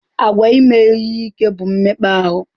Àgwà ime ihe ike bụ mmekpa ahụ.